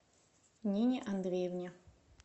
нине андреевне